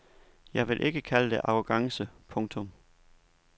Jeg vil ikke kalde det arrogance. punktum